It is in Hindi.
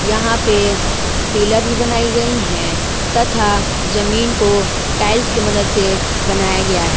यहां पे पिलर भी बनाई गई है तथा जमीन को टाइल्स की मदद से बनाया गया है।